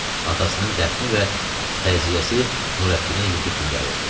Atasının dəfni və təziyəsi Nurəddinə yuxu kimi gəlirdi.